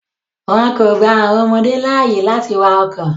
Wọn kò gba àwọn ọmọdé láàyè láti wakọ̀.